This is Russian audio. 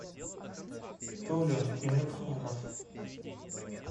толя темирханов